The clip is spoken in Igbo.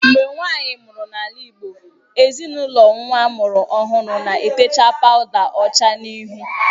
Mgbe nwaanyị mụrụ n’ala Igbo, ezinaụlọ nwa a mụrụ ọhụrụ na-etecha pawuda ọcha n’ihu